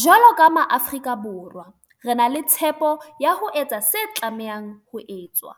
jwalo ka Maafrika Borwa, re na le tshepo ya ho etsa se tlamehang ho etswa.